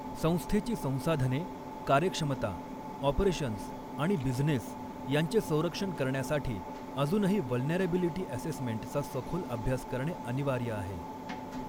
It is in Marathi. संस्थेची संसाधने कार्यक्षमता ऑपरेशन्स आणि बिझनेस यांचे संरक्षण करण्यासाठी अजूनही व्हल्नरॅबिलिटी असेसमेंट चा सखोल अभ्यास करणे अनिवार्य आहे.